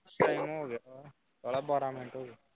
time ਹੋ ਗਿਆ ਸਾਲਿਆ ਬਾਰਾਂ minute ਹੋਗੇ